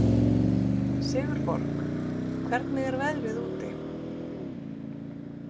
Sigurborg, hvernig er veðrið úti?